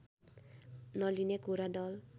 नलिने कुरा दल